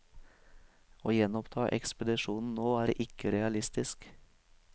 Å gjenoppta ekspedisjonen nå er ikke realistisk.